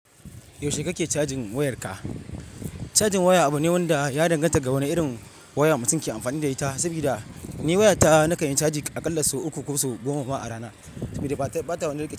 Yaushe kake cajin wayarka? Cajin waya abu ne wanda ya danganta ga wani irin waya mutum ke amfani da ita. Saboda ni wayata na kanyi caji a ƙalla sau uku ko sau goma ba a rana saboda bata wani rike ca.